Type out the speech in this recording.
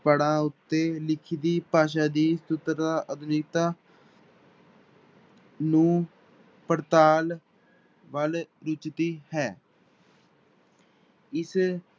ਪੜ੍ਹਾਂ ਉੱਤੇ ਲਿਖਤੀ ਭਾਸ਼ਾ ਦੀ ਨੂੰ ਪੜਤਾਲ ਵੱਲ ਹੈ ਇਸ